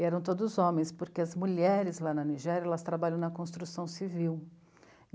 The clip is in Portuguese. E eram todos homens, porque as mulheres lá na Nigéria, elas trabalham na construção civil.